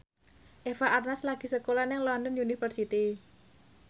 Eva Arnaz lagi sekolah nang London University